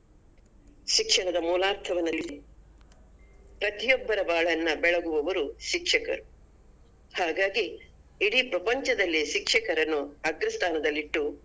ಶಿಕ್ಷಣದ ಮೂಲಾರ್ಥವನ್ನರಿತು ಪ್ರತಿಯೊಬ್ಬರ ಬಾಳನ್ನ ಬೆಳಗುವವರು ಶಿಕ್ಷಕರು ಹಾಗಾಗಿ ಇಡೀ ಪ್ರಪಂಚದಲ್ಲಿ ಶಿಕ್ಷಕರನ್ನು ಅಗ್ರಸ್ಥಾನದಲ್ಲಿಟ್ಟು.